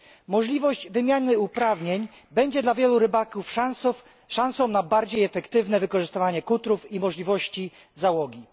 Możliwość wymiany uprawnień będzie dla wielu rybaków szansą na bardziej efektywne wykorzystywanie kutrów i możliwości załogi.